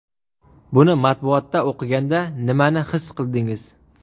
Buni matbuotda o‘qiganda nimani his qildingiz?